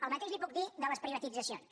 el mateix li puc dir de les privatitzacions